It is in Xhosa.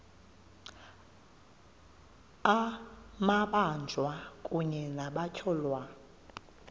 amabanjwa kunye nabatyholwa